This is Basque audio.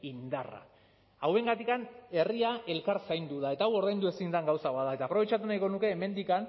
indarra hauengatik herria elkar zaindu da eta hau ordaindu ezin den gauza bat da eta aprobetxatu nahiko nuke hemendik